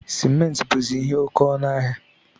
Simenti buzi ihe oke ọnụ ahịa